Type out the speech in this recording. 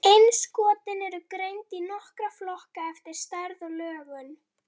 Innskotin eru greind í nokkra flokka eftir stærð og lögun.